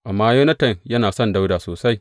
Amma Yonatan yana son Dawuda sosai.